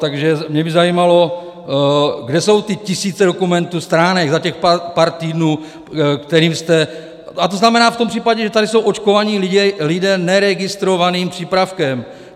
Takže mě by zajímalo, kde jsou ty tisíce dokumentů, stránek za těch pár týdnů, kterým jste... a to znamená v tom případě, že tady jsou očkovaní lidé neregistrovaným přípravkem.